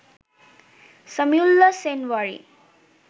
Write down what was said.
Samiullah Shinwari